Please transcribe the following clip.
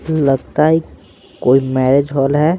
लगता है कोई मैरेज हॉल है।